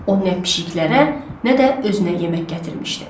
O nə pişiklərə, nə də özünə yemək gətirmişdi.